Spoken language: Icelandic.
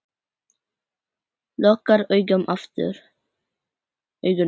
Lokar augunum aftur.